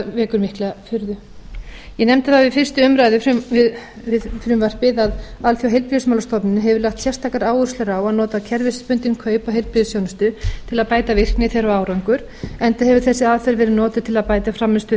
vekur mikla furðu ég nefndi það við fyrstu umræðu um frumvarpið að alþjóðaheilbrigðismálastofnunin hefur lagt sérstakar áherslur að nota kerfisbundin kaup á heilbrigðisþjónustu til að bæta virkni þeirra og árangur enda hefur þessi aðferð verið notuð til að bæta frammistöðu